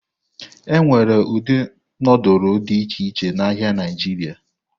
Enwere ụdị nudulu dị iche iche n'ahịa Naijiria.